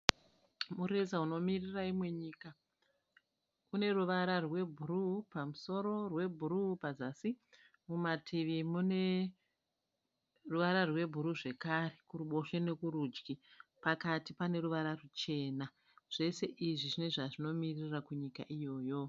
Mureza unomirira imwe nyika. Uneruvara rwebhuruwu pamusoro, rwebhuruwu pazasi. Mumativi mune ruvara rwebhuruwu zvekare kuruboshwe nekutudyi. Pakati paneruvara rwuchena. Zvose izvi pane zvazvinomiririra kunyika iyoyo.